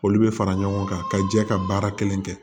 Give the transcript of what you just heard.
Olu bɛ fara ɲɔgɔn kan ka jɛ ka baara kelen kɛ